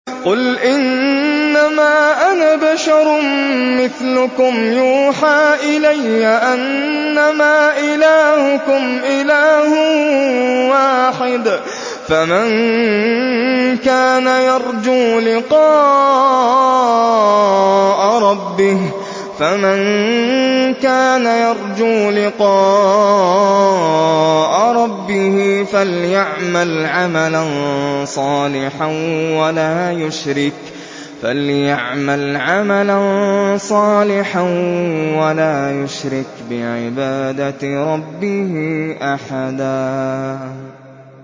قُلْ إِنَّمَا أَنَا بَشَرٌ مِّثْلُكُمْ يُوحَىٰ إِلَيَّ أَنَّمَا إِلَٰهُكُمْ إِلَٰهٌ وَاحِدٌ ۖ فَمَن كَانَ يَرْجُو لِقَاءَ رَبِّهِ فَلْيَعْمَلْ عَمَلًا صَالِحًا وَلَا يُشْرِكْ بِعِبَادَةِ رَبِّهِ أَحَدًا